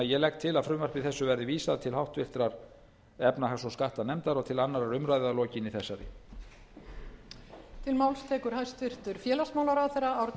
ég legg til að frumvarpi þessu verði vísað til háttvirtrar efnahags og skattanefndar og til annarrar umræðu að aflokinni þessari umræðu